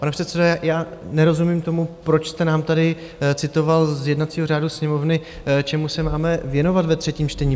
Pane předsedo, já nerozumím tomu, proč jste nám tady citoval z jednacího řádu Sněmovny, čemu se máme věnovat ve třetím čtení.